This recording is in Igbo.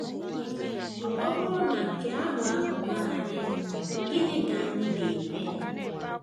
Ọ bụrụ na nke ahụ ahụ emee anyị, gịnị ka anyị ga - eme?